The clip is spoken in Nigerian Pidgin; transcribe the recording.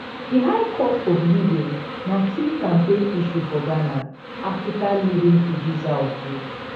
di high cost of living na key campaign issue for ghana africa leading producer of gold